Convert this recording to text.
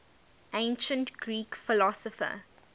ancient greek philosopher